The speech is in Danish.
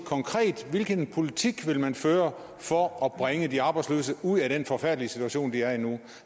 hvilken politik man vil føre for at bringe de arbejdsløse ud af den forfærdelige situation de er i nu